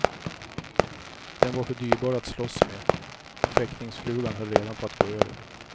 Den var för dyrbar att slåss med, och fäktningsflugan höll redan på att gå över.